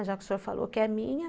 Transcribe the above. Já que o senhor falou que é minha.